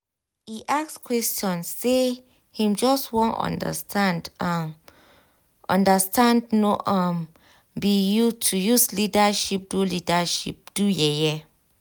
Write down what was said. e ask question say him just wan understand um understand no um be to use leadership do leadership do yeye